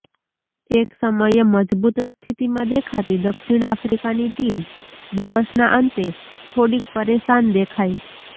એક સમયે મજબૂત સ્થિતિમાં દેખાતી દક્ષિણ આફ્રિકાની ટીમ દિવસના અંતે થોડીક પરેશાન દેખાઇ